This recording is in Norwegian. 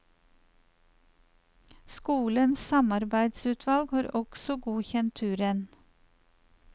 Skolens samarbeidsutvalg har også godkjent turen.